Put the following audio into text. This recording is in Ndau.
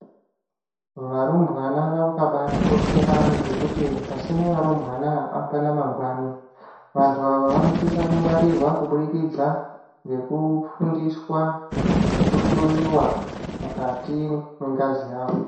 Varumbwana vakabaatikoshera ngekuti pasina varumbwana hapana mangwani. Vantu ava vanosisa kungwarirwa kubudikidza ngekufundiswa ngekuhloyiwa mukati mwengazi yavo.